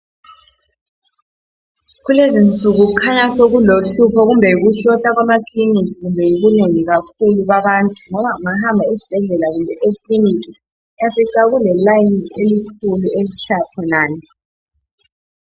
kulezinsuku kukhaya sokulohlupho kumbe yiku shota kwamakilinika kumbe yibunengi kakhulu babantu ngoba ungahamba esibhedlela kumbe e clinic uyafica kule line elikhulu elitshaya khonale